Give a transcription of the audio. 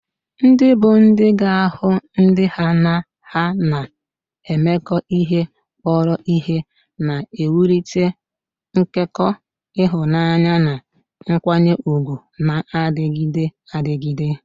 Ndị bụ́ di ga-ahụ ndị ha na ha na-emekọ ihe kpọrọ ihe, na-ewulite nkekọ ịhụnanya na nkwanye ùgwù na-adịgide adịgide.